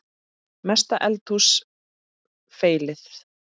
Mesta eldhús feilið?